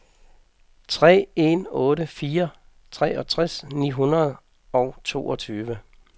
tre en otte fire treogtres ni hundrede og toogtyve